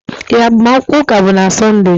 Ee, agbamakwụkwọ ụka bụ na Sọnde.